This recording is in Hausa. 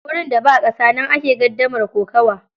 Gurin da ba ƙasa, nan ake gardamar kokawa.